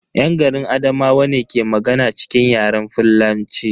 Yan garin Adamawa ne ke magana cikin Yaren fullanci.